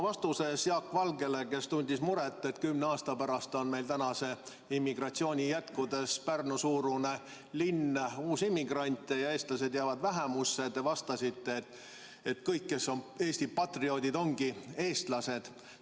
Vastates Jaak Valgele, kes tundis muret, et kümne aasta pärast on meil praeguse immigratsiooni jätkudes Pärnu-suurune linn uusimmigrante ja eestlased jäävad vähemusse, te ütlesite, et kõik, kes on Eesti patrioodid, ongi eestlased.